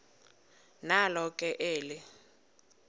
nalo ke eli